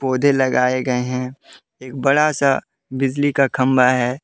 पौधे लगाए गए हैंएक बड़ा सा बिजली का खंबा है।